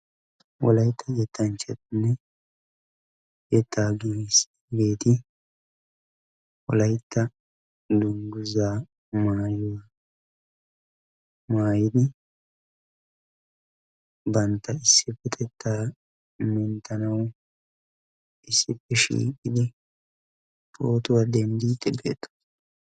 wolaytta yettanchati wolaytta hadiyanne dunguzzaa maayidi issipe ziiriyani uttidi phootuwaa dendiidi de"oosona.